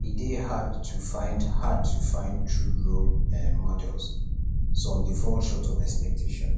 e dey hard to find hard to find true role um models some dey fall short of expectations